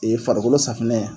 farikolo safinɛ